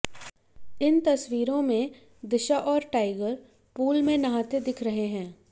इन तस्वीरों में दिशा और टाइगर पूल में नहाते दिख रहे हैं